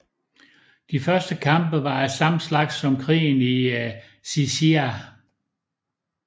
De første kampe var af samme slags som krigen i Xi Xia